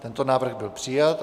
Tento návrh byl přijat.